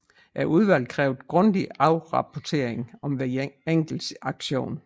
Udvalget krævede grundig rapportering om hver enkelt aktion